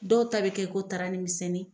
Dɔw ta bɛ kɛ ko tarani minsɛnnin.